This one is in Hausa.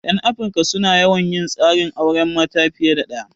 'Yan Afirika su na yawan yin tsarin auren mata fiye da ɗaya.